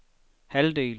halvdel